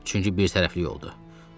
Çünki birtərəfli yoldur.